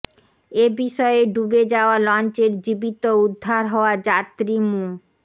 এ বিষয়ে ডুবে যাওয়া লঞ্চের জীবিত উদ্ধার হওয়া যাত্রী মো